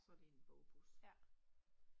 Så det en bogbus